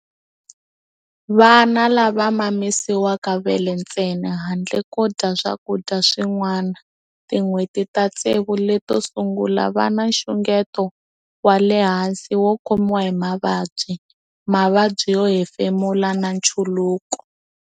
Vana lava mamisiwaka vele ntsena handle ko dya swakudya swin'wana tin'hweti ta tsevu leto sungula va na nxungeto wa le hansi wo khomiwa hi mavabyi, mavabyi yo hefemula na nchuluko.